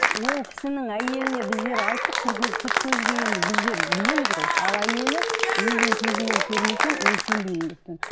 ол кісінің әйеліне біздер айттық сырт көзге енді біздер білеміз ғой ал әйелі өзімнің көзіммен көрмесем мен сенбеймін деп тұр